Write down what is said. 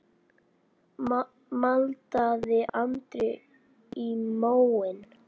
maldaði Andri í móinn.